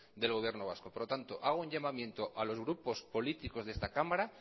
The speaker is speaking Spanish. del gobierno vasco por lo tanto hago un llamamiento a los grupos políticos de esta cámara